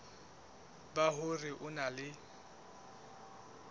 ba hore o na le